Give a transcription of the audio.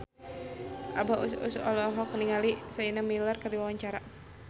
Abah Us Us olohok ningali Sienna Miller keur diwawancara